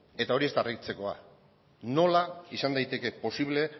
eta hori ez da harritzekoa nola izan daiteke posible